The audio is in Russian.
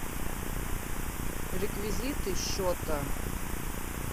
реквизиты счета